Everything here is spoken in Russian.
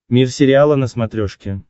мир сериала на смотрешке